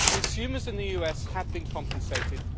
Consumers in the US have been compensated